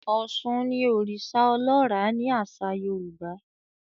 Òshun ní oriṣa ọlọra ni aṣa Yorùbá